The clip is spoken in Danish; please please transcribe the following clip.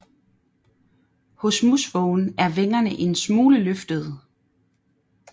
Hos musvågen er vingerne en smule løftede